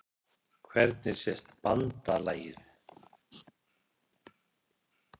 Hvernig sést BANDALAGIÐ?